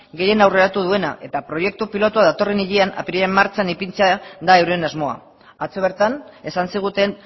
gehien aurreratu duena eta proiektu pilotu datorren hilean apirilean martxan ipintzea da euren asmoa atzo bertan esan ziguten